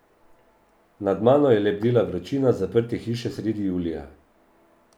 Nad mano je lebdela vročina zaprte hiše sredi julija.